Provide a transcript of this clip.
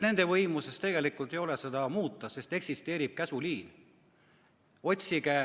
Nende võimuses ei ole seda muuta, sest eksisteerib käsuliin.